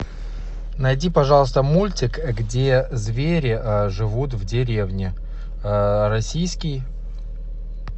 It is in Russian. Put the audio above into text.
найди пожалуйста мультик где звери живут в деревне российский